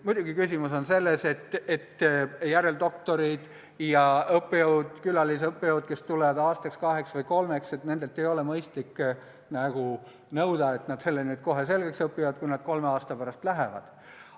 Muidugi, küsimus on selles, et järeldoktoritelt ja õppejõududelt, külalisõppejõududelt, kes tulevad siia aastaks, kaheks või kolmeks, ei ole mõistlik nõuda, et nad keele kohe selgeks õpiksid, kui nad kolme aasta pärast lähevad.